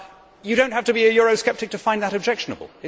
You do not have to be a eurosceptic to find that objectionable.